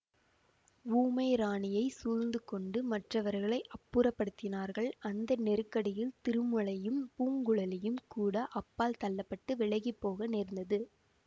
ஊமை ராணியைச் சூழ்ந்து கொண்டு மற்றவர்களை அப்புறப்படுத்தினார்கள் அந்த நெருக்கடியில் திருமலையும் பூங்குழலியும் கூட அப்பால் தள்ள பட்டு விலகிப் போக நேர்ந்தது